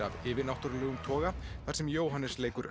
af yfirnáttúrulegum toga þar sem Jóhannes leikur